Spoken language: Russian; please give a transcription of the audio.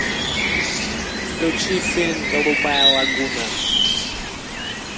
включи фильм голубая лагуна